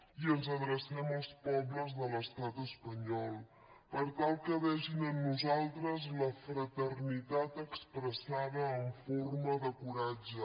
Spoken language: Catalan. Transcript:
i ens adrecem als pobles de l’estat espanyol per tal que vegin en nosaltres la fraternitat expressada en forma de coratge